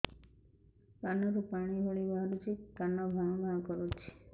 କାନ ରୁ ପାଣି ଭଳି ବାହାରୁଛି କାନ ଭାଁ ଭାଁ କରୁଛି